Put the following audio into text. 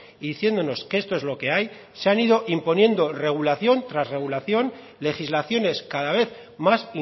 y diciéndonos que esto es lo que hay se han ido imponiendo regulación tras regulación legislaciones cada vez más